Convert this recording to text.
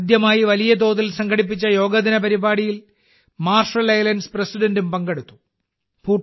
ആദ്യമായി വലിയ തോതിൽ സംഘടിപ്പിച്ച യോഗാ ദിന പരിപാടിയിൽ മാർഷൽ ഐലൻഡ്സ് പ്രസിഡന്റും പങ്കെടുത്തു